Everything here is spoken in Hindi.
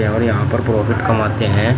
और यहां पर प्रॉफिट कमाते हैं।